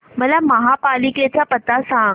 मला महापालिकेचा पत्ता सांग